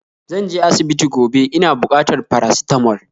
Zanje asibiti gobe, ina bukatar paracetamol